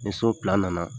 Ni so nana